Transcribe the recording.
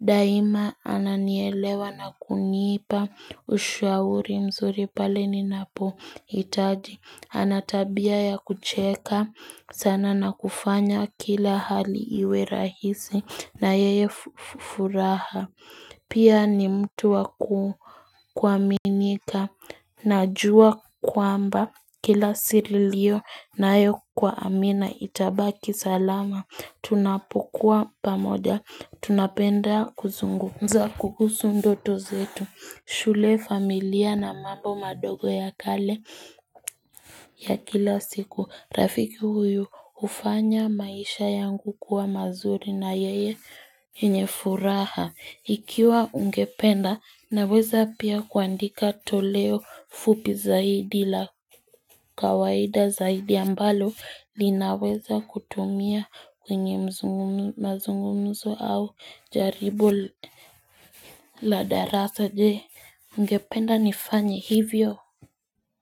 Daima ananielewa na kunipa, ushauri mzuri pale ninapohitaji. Ana tabia ya kucheka, sana na kufanya kila hali iwe rahisi na yenye furaha. Pia ni mtu wa kuaminika najua kwamba kila siri ilionayo kwa amina itabaki salama. Tunapokua pamoja, tunapenda kuzungumza kukusu ndoto zetu shule familia na mambo madogo ya kale ya kila siku Rafiki huyu hufanya maisha yangu kuwa mazuri na yeye yenye furaha Ikiwa ungependa naweza pia kuandika toleo fupi zaidi la kawaida zaidi ambalo linaweza kutumia kwenye mzungumzo mazungumzo au jaribu la darasa je ungependa nifanye hivyo.